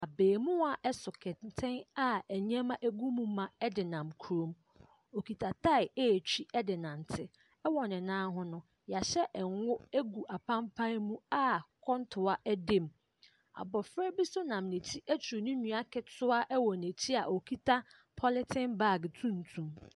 Abaamua ɛso kɛntɛn a ɛnneɛma ɛgu mu ma ɛde nam kuro mu. Ɔkita tai ɛretwi ɛde nante. Ɛwɔ ne nan ho no yahyɛ nwo agu apanpan mu a kɔntoa ɛda mu. Abɔfra bi nso nam n'akyi aturu ne nua ketewa ɛwɔ n'akyi a ɔkita pɔlitin baage tumtum.